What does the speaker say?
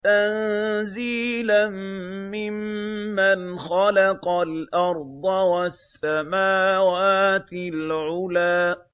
تَنزِيلًا مِّمَّنْ خَلَقَ الْأَرْضَ وَالسَّمَاوَاتِ الْعُلَى